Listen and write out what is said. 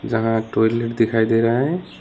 जहां टॉयलेट दिखाई दे रहा है।